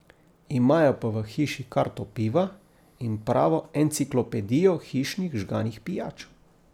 Imajo pa v hiši karto piva in pravo enciklopedijo hišnih žganih pijač.